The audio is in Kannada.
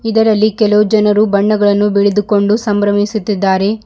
ಇದರಲ್ಲಿ ಕೆಲವು ಜನರು ಬಣ್ಣಗಳನ್ನು ಬಳಿದುಕೊಂಡು ಸಂಭ್ರಮಿಸುತಿದ್ದಾರೆ.